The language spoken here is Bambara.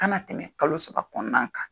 Kana tɛmɛ kalo saba kɔnɔna kan.